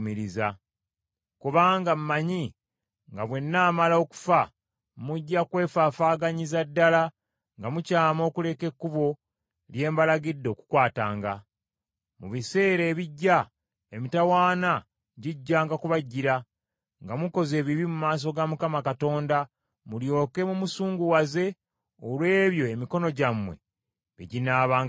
Kubanga mmanyi nga bwe nnaamala okufa mujja kwefaafaaganyiza ddala nga mukyama okuleka ekkubo lye mbalagidde okukwatanga. Mu biseera ebijja emitawaana gijjanga kubajjira, nga mukoze ebibi mu maaso ga Mukama Katonda mulyoke mumusunguwaze olw’ebyo emikono gyammwe bye ginaabanga gikoze.”